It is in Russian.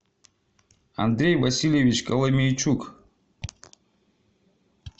андрей васильевич коломенчук